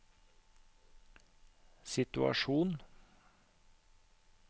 situasjon